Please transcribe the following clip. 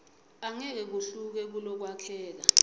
angeke kuhluke kulokwakheka